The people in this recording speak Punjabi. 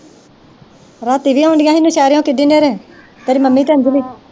ਰਾਤੀ ਵੀ ਆਉਂਦੀਆਂ ਹੀਆ ਨਸ਼ੇਰਿਓ ਕਿੰਨੀ ਹਨ੍ਹੇਰੇ ਤੇਰੀ ਮੰਮੀ ਤੇ ਅੰਜਲੀ